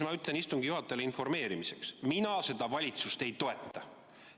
Ma ütlen istungi juhatajale informeerimiseks: mina seda valitsust ei toeta.